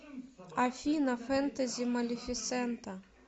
афина фентези малифисента